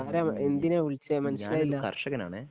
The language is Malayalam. ഞാനൊരു കർഷകനാണേ